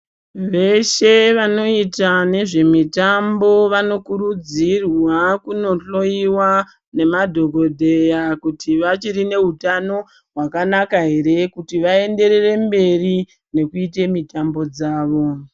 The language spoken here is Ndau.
Veshe vanoita nezvemitambo vanokurudzirwa kunohloiwa, nemadhokodheya kuti vachiri neutano hwakanaka here kuti vaenderere mberi, nekuite mitambo dzavo.